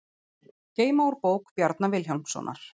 Geyma úr bók Bjarna Vilhjálmssonar